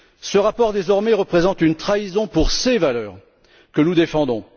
Ce rapport, désormais, représente une trahison pour ces valeurs que nous défendons.